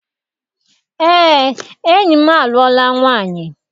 Eé, enyi m alụọla nwaanyị.